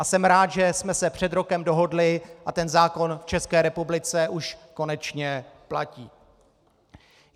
A jsem rád, že jsme se před rokem dohodli a ten zákon v České republice už konečně platí.